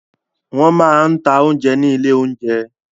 Wọ́n máa ń ta oúnjẹ ní ilé-oúnjẹ.